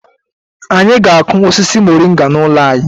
Anyị ga-akụ osisi Moringa n'ụlọ anyị.